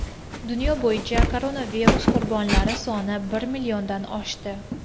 Dunyo bo‘yicha koronavirus qurbonlari soni bir milliondan oshdi.